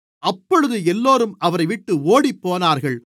அப்பொழுது எல்லோரும் அவரைவிட்டு ஓடிப்போனார்கள்